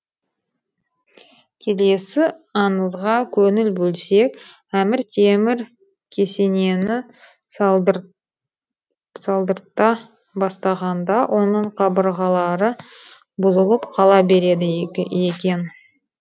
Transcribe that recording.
келесі аңызға қөңіл бөлсек әмір темір кесенені салдырта бастағанда оның қабырғалары бұзылып қала береді екен